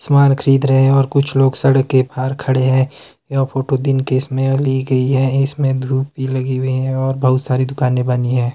सामान खरीद रहे हैं और कुछ लोग सड़क के बाहर खड़े हैं यह फोटो दिन के समय ली गई है इसमें धूप भी लगी हुई हैं और बहुत सारी दुकानें बनी हैं।